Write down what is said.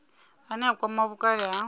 ane a kwama vhukale na